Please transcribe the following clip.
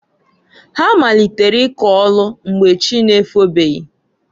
Ha malitere ịkọ ọlụ mgbe chị na-efobeghi.